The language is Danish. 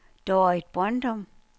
Dorrit Brøndum